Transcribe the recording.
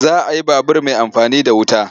Za a yi babur mai amfani da wuta.